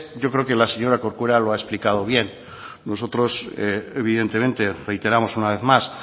yo creo que la señora corcuera lo ha explicado bien nosotros evidentemente reiteramos una vez más